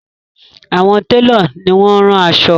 Àwọn telo ní wón ron aṣọ.